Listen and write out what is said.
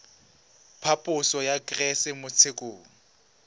phaposo ya kgetse mo tshekong